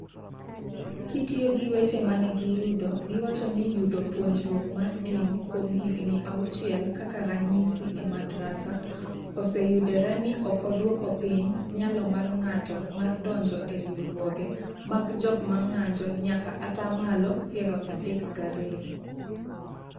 kitiyo gi weche ma ne giyudo, giwacho ni yudo “puonjruok mar dini kuom higni auchiel (kaka ranyisi, e Madrasa), oseyudore ni ok odwoko piny nyalo mar ng’ato mar donjo e riwruoge mag jok ma ng’anjo nyaka atamalo piero adek g'ariyo.